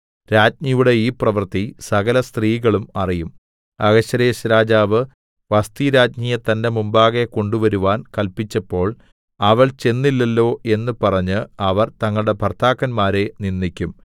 രാജ്ഞിയുടെ ഈ പ്രവൃത്തി സകലസ്ത്രീകളും അറിയും അഹശ്വേരോശ്‌ രാജാവ് വസ്ഥിരാജ്ഞിയെ തന്റെ മുമ്പാകെ കൊണ്ടുവരുവാൻ കല്പിച്ചപ്പോൾ അവൾ ചെന്നില്ലല്ലോ എന്ന് പറഞ്ഞ് അവർ തങ്ങളുടെ ഭർത്താക്കന്മാരെ നിന്ദിക്കും